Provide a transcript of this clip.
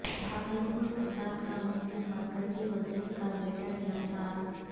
بھاگلپور فساد کا ملزم مرکزی وزیر کا بیٹا گرفتار